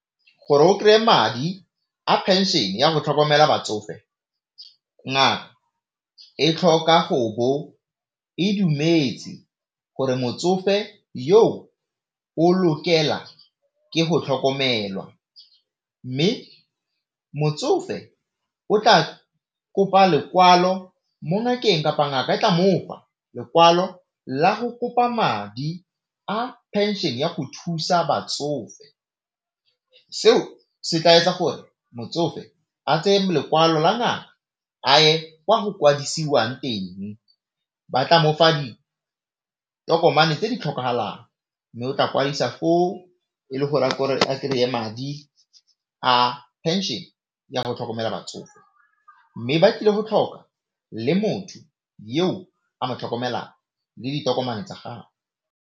Gore o kry-e madi a pension ya go tlhokomela batsofe ngaka e tlhoka gobo e dumetse gore motsofe yo o lokela ke go tlhokomelwa, mme motsofe o tla kopa lekwalo mo ngakeng kapa ngaka e tla mofa lekwalo la go kopa madi a pension ya go thusa batsofe. Seo se tla etsa gore motsofe a tseye lekwalo la ngaka a ye kwa go kwadisiwang teng, batla mofa ditokomane tse di tlhokagalang mme o tla kwadisa o e le gore a kry-e madi a pension ya go tlhokomela batsofe, mme ba tlile go tlhoka le motho yo a mo tlhokomelelang le ditokomane tsa gagwe.